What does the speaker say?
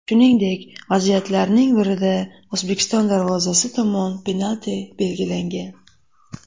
Shuningdek, vaziyatlarning birida O‘zbekiston darvozasi tomon penalti belgilangan.